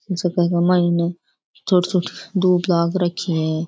छोटी छोटी दूब लाग रखी है।